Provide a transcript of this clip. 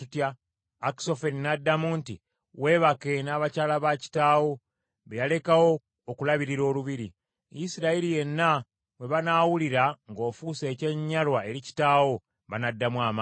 Akisoferi n’addamu nti, “Weebake n’abakyala ba kitaawo be yalekawo okulabirira olubiri. Isirayiri yenna bwe banaawulira ng’ofuuse ekyenyinyalwa eri kitaawo, banaddamu amaanyi.”